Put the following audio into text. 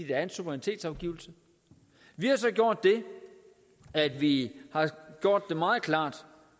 er en suverænitetsafgivelse vi har så gjort det at vi har gjort det meget klart